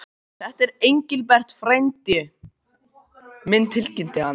Þetta er Engilbert frændi minn tilkynnti hann.